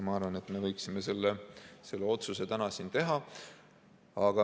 Ma arvan, et me võiksime selle otsuse täna siin teha.